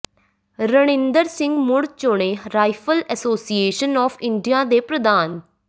ਰਣਇੰਦਰ ਸਿੰਘ ਮੁੜ ਚੁਣੇ rifle association of India ਦੇ ਪ੍ਰਧਾਨ